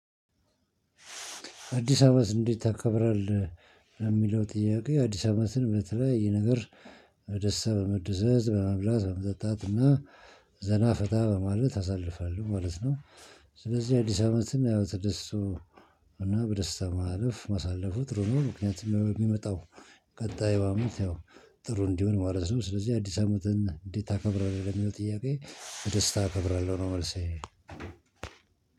አዲስ አመት እንዴት ታከብራለህ? የሚለው ጥያቄ አዲስ አመትን በተለያየ ነገር ደስታ በመደሰት በመብላት በመጠጣት እና ዘና ፈታ በማለት አሳልፋለሁ ማለት ነው። ስለዚህ አዲስ አመትን ያው ተደስቶ እና በደስታ ማለፍ ማሳለፉ ጥሩ ምክንያቱም የሚመጣው ቀጣዩ አመት ጥሩ እንዲሆን ማለት ነው። ስለዚህ አዲስ አመትን እንዴት ታከብራለህ የሚለው ጥያቄ በደስታ አከብራለሁ ነው። መልሴ